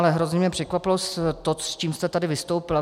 Ale hrozně mě překvapilo to, s čím jste tady vystoupila.